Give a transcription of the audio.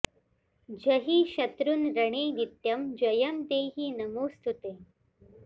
जहि शत्रून् रणे नित्यं जयं देहि नमोऽस्तु ते